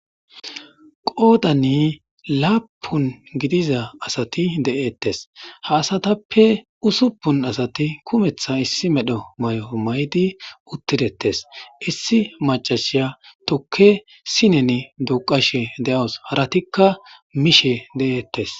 qoodanni laapun gidiza asati de'eettes ha asatappe usuppun asati kumeththa issi medho mayo maydi uttidettes issi macashiya tukke sinen duqashe de'awuss haratikka miishe de'eettes